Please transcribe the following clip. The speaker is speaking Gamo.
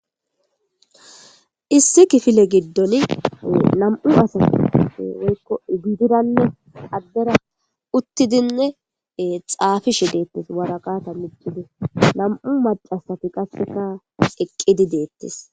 issi kifile giddoli nam'u asa weykko gidiranne addera uttidinne xaafishe deettes wara qaata mittide nam'u macasat qafeka eqqidi deettes.